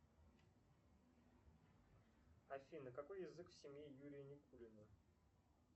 афина какой язык в семье юрия никулина